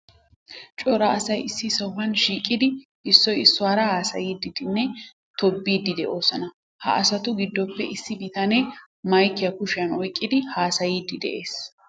Cora asay issi sohuwan shiiqidi issoy issuwara haasayiiddinne tobbiiddi de'oosona. Ha asatu giddoppe issi bitanee maykiya kushiyan oyqqidi haasaayiiddi de'ees.